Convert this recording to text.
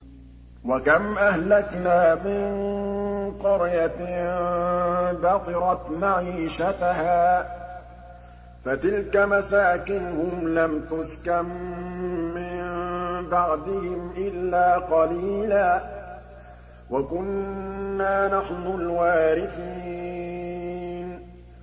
وَكَمْ أَهْلَكْنَا مِن قَرْيَةٍ بَطِرَتْ مَعِيشَتَهَا ۖ فَتِلْكَ مَسَاكِنُهُمْ لَمْ تُسْكَن مِّن بَعْدِهِمْ إِلَّا قَلِيلًا ۖ وَكُنَّا نَحْنُ الْوَارِثِينَ